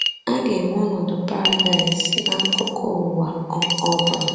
A ga-enwe ọnọdụ paradaịs n’akụkụ ụwa ọ ọ bụla.